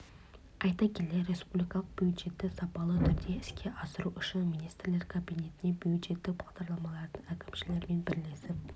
айта келе республикалық бюджетті сапалы түрде іске асыру үшін министрлер кабинетіне бюджеттік бағдарламалардың әкімшілерімен бірлесіп